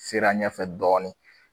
Sera ɲɛfɛ dɔɔni.